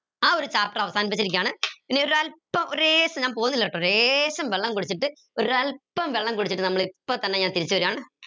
ആ ഒരു chapter അവസാനിപ്പിച്ചിരിക്കുകയാണ് ഇനി ഒരല്പം ഒര് ലേശം ഞാൻ പോന്നില്ലാട്ടോ ലേശം വെള്ളം കുടിച്ചിട്ട് ഒരൽപം വെള്ളം കുടിച്ചിട്ട് നമ്മൾ ഇപ്പൊ തന്നെ ഞാൻ തിരിച്ച് വരാണ്